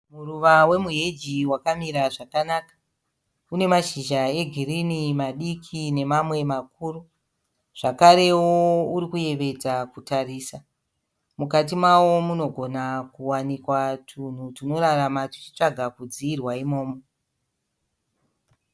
Muruva wemu heji wakamira zvakanaka. Une mashizha e girinhi, madiki nemamwe makuru. Zvakarewo urikuyevedza kutarisa. Mukati mawo munogona kuwanikwa tunhu tunorarama tuchitsvaga kudziirwa imomo.